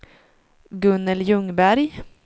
Gunnel Ljungberg